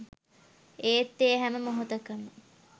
ඒත් ඒ හැම මොහොතකම